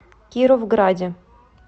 кировграде